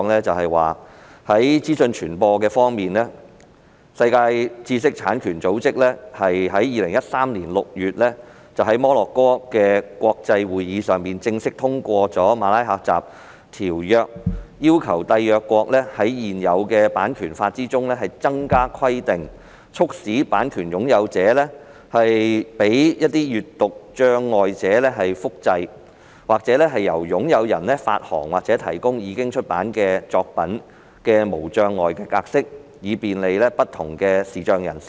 在資訊傳播方面，世界知識產權組織在2013年6月在摩洛哥國際會議上正式通過《馬拉喀什條約》，要求締約國在現有版權法之中增加規定，促使版權擁有者容許閱讀障礙者複製或由擁有人發行或提供已出版作品的無障礙格式，以便利不同的視障人士。